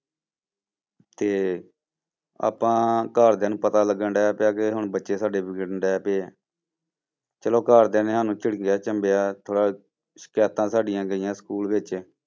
ਤੇ ਆਪਾਂ ਘਰਦਿਆਂ ਨੂੰ ਪਤਾ ਲੱਗਣ ਡਿਆ ਪਿਆ ਕਿ ਹੁਣ ਬੱਚੇ ਸਾਡੇ ਵਿਗੜਨਡੇ ਪਿਆ ਚਲੋ ਘਰਦਿਆਂ ਨੇ ਸਾਨੂੰ ਝਿੜਕਿਆਂ ਝੰਬਿਆਂ, ਥੋੜ੍ਹਾ ਸਿਕਾਇਤਾਂ ਸਾਡੀਆਂ ਗਈਆਂ school ਵਿੱਚ,